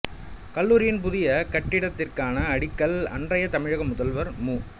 கல்லூரியின் புதிய கட்டிடத்திற்கான அடிக்கல் அன்றைய தமிழக முதல்வர் மு